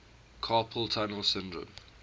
carpal tunnel syndrome